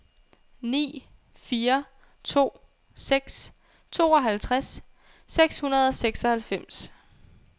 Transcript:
ni fire to seks tooghalvtreds seks hundrede og seksoghalvfems